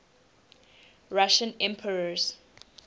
russian emperors